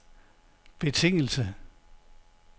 betingelse